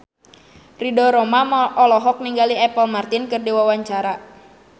Ridho Roma olohok ningali Apple Martin keur diwawancara